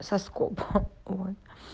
соскоб ха ой